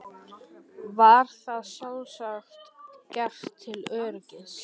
Var það sjálfsagt gert til öryggis.